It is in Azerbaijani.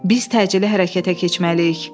Biz təcili hərəkətə keçməliyik.